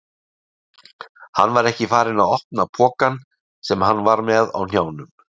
Hann var ekki farinn að opna pokann sem hann var með á hnjánum.